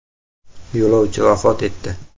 Yo‘lovchi vafot etdi.